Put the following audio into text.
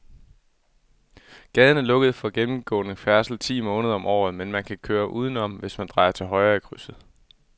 Gaden er lukket for gennemgående færdsel ti måneder om året, men man kan køre udenom, hvis man drejer til højre i krydset.